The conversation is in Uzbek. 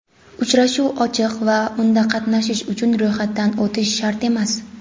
Uchrashuv ochiq va unda qatnashish uchun ro‘yxatdan o‘tish shart emas.